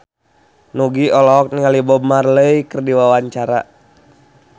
Nugie olohok ningali Bob Marley keur diwawancara